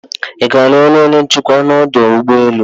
iga aru ọrụ onye nchekwa ọdụ ụgbọ enu?